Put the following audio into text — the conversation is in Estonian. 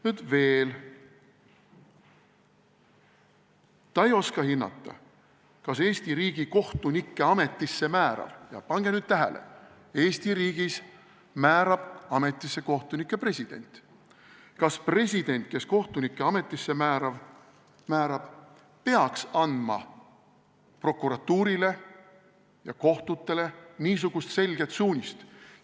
Veel ütleb ta, et ta ei oska hinnata, kas Eesti riigi kohtunikke ametisse määrav president – ja pange nüüd tähele: Eesti riigis määrab kohtunikke ametisse president – peaks andma prokuratuurile ja kohtutele niisugust selget suunist.